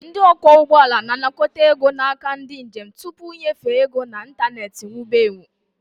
Ndị ọkwọ ụgbọala na-anakọta ego n'aka ndị njem tupu ịnyefe ego na ịntanetị wube ewu